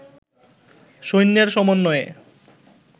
সৈন্যের সমন্নয়ে